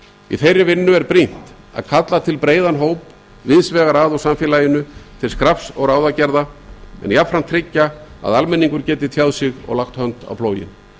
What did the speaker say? í þeirri vinnu er brýnt að kalla til breiðan hóp víðs vegar að úr samfélaginu til skrafs og ráðagerða en jafnframt tryggja að almenningur geti tjáð sig og lagt hönd á plóginn